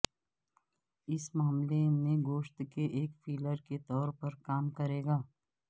اس معاملے میں گوشت کا ایک فلر کے طور پر کام کرے گا